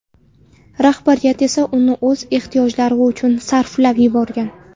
Rahbariyat esa uni o‘z ehtiyojlari uchun sarflab yuborgan.